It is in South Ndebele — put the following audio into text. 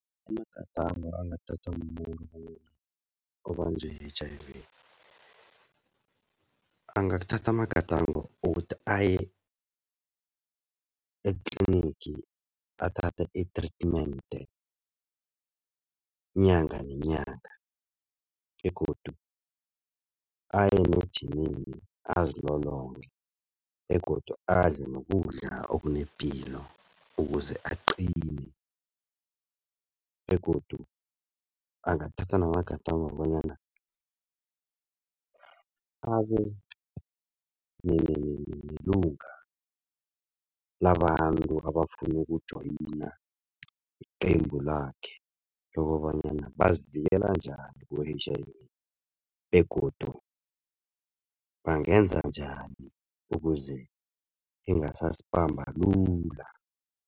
Amagadango angathathwa mumuntu obanjwe yi-H_I_V, angathatha amagadango wokuthi aye etlinigi athathe i-treatment inyanga nenyanga begodu aye nejimini azilolonge begodu adle nokudla okunepilo, ukuze aqine begodu angathatha namagadango bonyana abe lilunga labantu abafuna ukujoyina iqembu lakhe lokobanyana bazivikela njani ku-H_I_V begodu bangenza njani ukuze ingasasibamba lula.